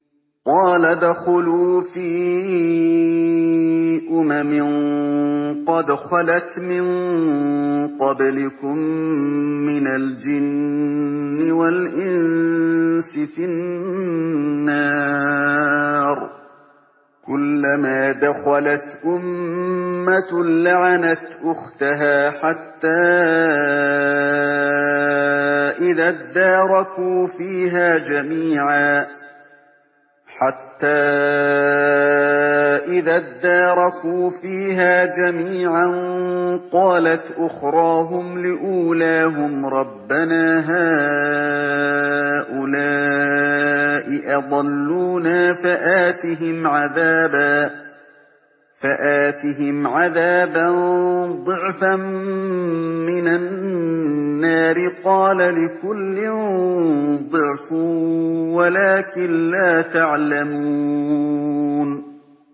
قَالَ ادْخُلُوا فِي أُمَمٍ قَدْ خَلَتْ مِن قَبْلِكُم مِّنَ الْجِنِّ وَالْإِنسِ فِي النَّارِ ۖ كُلَّمَا دَخَلَتْ أُمَّةٌ لَّعَنَتْ أُخْتَهَا ۖ حَتَّىٰ إِذَا ادَّارَكُوا فِيهَا جَمِيعًا قَالَتْ أُخْرَاهُمْ لِأُولَاهُمْ رَبَّنَا هَٰؤُلَاءِ أَضَلُّونَا فَآتِهِمْ عَذَابًا ضِعْفًا مِّنَ النَّارِ ۖ قَالَ لِكُلٍّ ضِعْفٌ وَلَٰكِن لَّا تَعْلَمُونَ